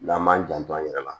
N'an m'an janto an yɛrɛ la